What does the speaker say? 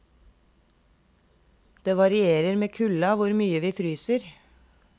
Det varierer med kulda hvor mye vi fryser.